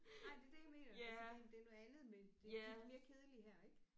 Nej det er det jeg mener fordi det er noget andet med det de er mere kedelige her ik